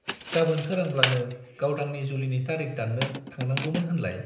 गाबोन सोरांब्लानो गावदांनि जुलिनि तारिख दाननो थांनांगौमोन होनलाय?